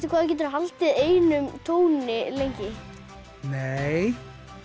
hvað þú getur haldið einum tóni lengi nei